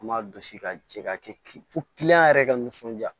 An b'a gosi ka jɛ ka kɛ fo kiliyan yɛrɛ ka nisɔndiya